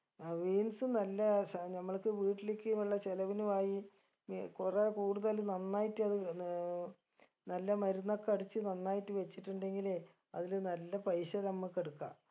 അഹ് beans നല്ല സ നമ്മൾക്ക് വീട്ടിലിക്ക് നല്ല ചിലവിനു ആയി ഇ കൊറേ കൂടുതൽ നന്നായിട്ടത് നേ നല്ല മരുന്നൊക്കെ അടിച്ച് നന്നായിട്ട് വെച്ചുട്ടെങ്കിലേ അതില് നല്ല പൈസ നമ്മക്ക് എടുക്കാ